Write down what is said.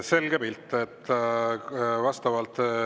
Selge pilt.